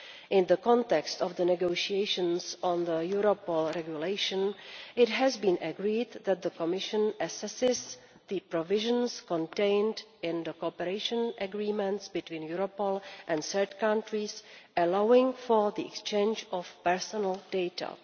In the context of the negotiations on the Europol regulation, it has been agreed that the Commission assesses the provisions contained in the cooperation agreements between Europol and third countries allowing for the exchange of personal data.